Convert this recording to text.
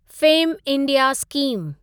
fame India scheme